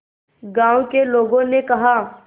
गांव के लोगों ने कहा